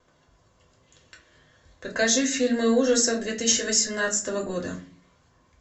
покажи фильмы ужасов две тысячи восемнадцатого года